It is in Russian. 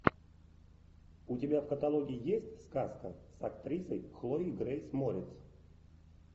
у тебя в каталоге есть сказка с актрисой хлоей грейс морец